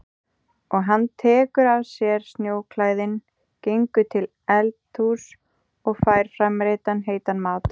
Og hann tekur af sér snjóklæðin, gengur til eldhúss og fær framreiddan heitan mat.